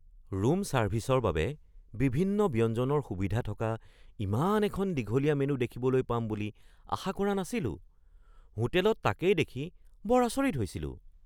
Room ছাৰ্ভিচৰ বাবে বিভিন্ন ব্যঞ্জনৰ সুবিধা থকা ইমান এখন দীঘলীয়া মেনু দেখিবলৈ পাম বুলি আশা কৰা নাছিলো। হোটেলত তাকেই দেখি বৰ আচৰিত হৈছিলোঁ!